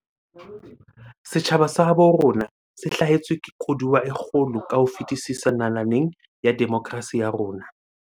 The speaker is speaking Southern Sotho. Setjhaba sa habo rona se hlahetswe ke koduwa e kgolo ka ho fetisisa nalaneng ya demokrasi ya rona.